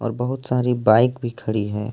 बहुत सारी बाइक भी खड़ी है।